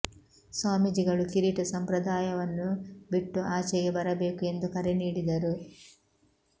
ಸ್ವಾಮೀಜಿಗಳು ಕಿರೀಟ ಸಂಪ್ರದಾಯವನ್ನು ಬಿಟ್ಟು ಆಚೆಗೆ ಬರಬೇಕು ಎಂದು ಕರೆ ನೀಡಿದರು